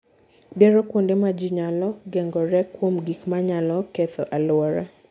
Gero kuonde ma ji nyalo geng'oree kuom gik ma nyalo ketho alwora.